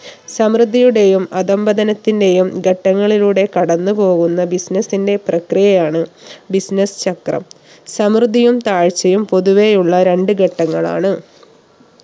സമൃദ്ധിയുടെയും അധംപതനത്തിന്റെയും ഘട്ടങ്ങളിലൂടെ കടന്ന്പോവുന്ന business ന്റെ പ്രക്രിയയാണ് business ചക്രം സമൃദ്ധിയും താഴ്ചയും പൊതുവെയുള്ള രണ്ട് ഘട്ടങ്ങളാണ്